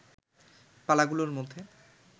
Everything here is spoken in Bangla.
পালাগুলোর মধ্যে